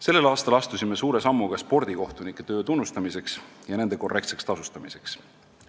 Sellel aastal astusime suure sammu ka spordikohtunike töö tunnustamiseks ja nende korrektseks tasustamiseks.